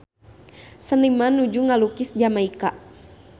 Seniman nuju ngalukis Jamaika